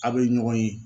Aw bɛ ɲɔgɔn ye